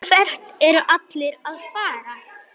Hvert eru allir að fara?